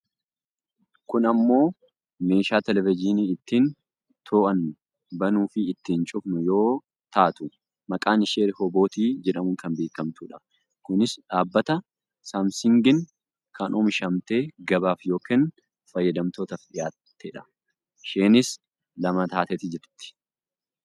kun ammoo meeshaa televejiinii ittiin to'annu bannuu fi ittiin cufnu yoo taatu maqaan ishees rihobootii jedhamuun kan beekkamtudha. kunis dhabbata saamsingiin kan oomishamtee gabaaf yookaan fayyadamtootaaf dhiyaattedha. isheenis lama taatet jirti.